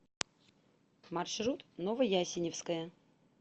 маршрут новоясеневская